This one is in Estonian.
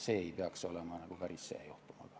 See ei peaks olema päris see juhtum.